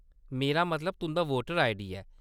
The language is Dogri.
मेरा मतलब तुंʼदा वोटर आईडी ऐ।